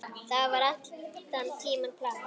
Það var allan tímann planið.